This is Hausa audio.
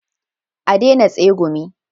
A daina tsegumi